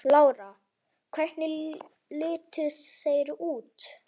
Lára: Hvernig litu þeir út?